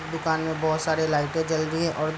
दुकान में बहुत सारी लाइटें जल रही है और --